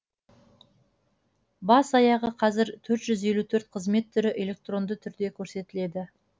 бас аяғы қазір төрт жүз елу төрт қызмет түрі электронды түрде көрсетіледі